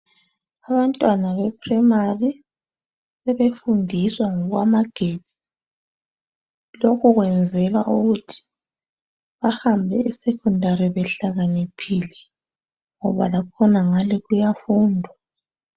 Abantwana bePrimary sebefundiswa ngokwamagetsi. Lokhu kwenzelwa ukuthi bahambe eSecondari behlakaniphile ngoba lakhonangale kuyafundwa.